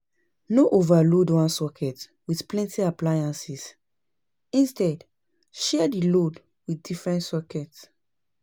No overload one socket with plenty appliances instead, share di load with different socket